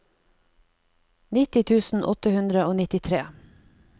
nitti tusen åtte hundre og nittitre